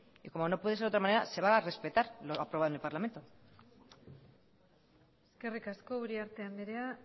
y como no puede ser de otra manera se va a respetar lo aprobado en el parlamento eskerrik asko uriarte andrea